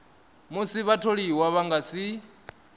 musi vhatholiwa vha nga si